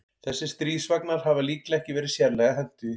Þessir stríðsvagnar hafa líklega ekki verið sérlega hentugir.